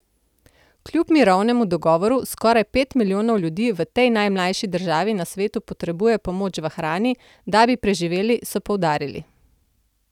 Kljub mirovnemu dogovoru skoraj pet milijonov ljudi v tej najmlajši državi na svetu potrebuje pomoč v hrani, da bi preživeli, so poudarili.